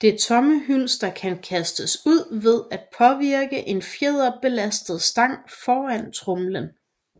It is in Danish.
Det tomme hylster kan kastes ud ved at påvirke en fjederbelastet stang foran tromlen